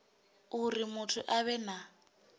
uri muthu a vhe na